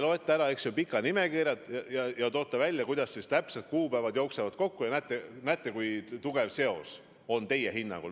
Te loete pikalt ette ja toote välja, kuidas täpselt kuupäevad jooksevad, ja näete, et on tugev seos.